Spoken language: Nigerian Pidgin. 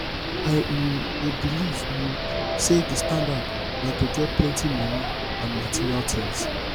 i um dey believe um say di standard na to get plenty money and material things